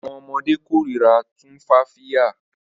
Awọn ọmọde korira Tumfafiya